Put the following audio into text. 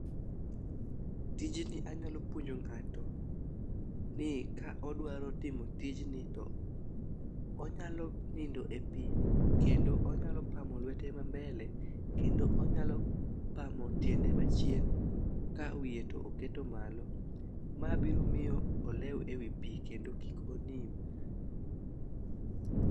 Tijni anyalo puonjo ng'ato ni ka odwaro timo tijni onyalo nindo e pii kendo onyalo pamo lwete ma mbele kendo onyalo pamo tiende machien ka wiye to oketo malo. Ma biro miyo olew e wi pii kendo kik onim.